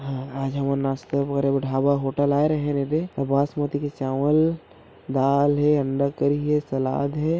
हाँ आज हमन नाश्ता करे बर ढाबा होटल आए रहेन येदे बासमती के चावल दाल हे अंडा करी हे सलाद हे--